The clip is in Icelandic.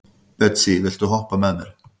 Betsý, viltu hoppa með mér?